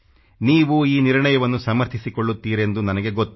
ನೀವು ಈ ನಿರ್ಣಯವನ್ನು ಸಮರ್ಥಿಸಿಕೊಳ್ಳುತ್ತೀರೆಂದು ನನಗೆ ಗೊತ್ತು